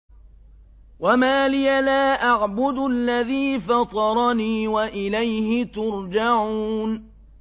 وَمَا لِيَ لَا أَعْبُدُ الَّذِي فَطَرَنِي وَإِلَيْهِ تُرْجَعُونَ